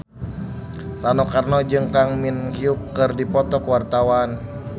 Rano Karno jeung Kang Min Hyuk keur dipoto ku wartawan